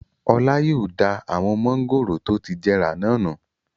Ọlá yóò da awon mángòrò tó ti jẹrà náà nù.